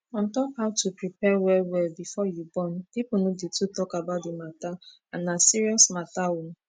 on top how to prepare well well before you born people no dey too talk about the matter and na serious matter oo